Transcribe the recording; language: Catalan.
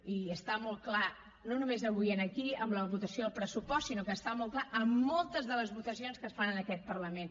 i està molt clar no només avui aquí amb la votació del pressupost sinó que està molt clar en moltes de les votacions que es fan en aquest parlament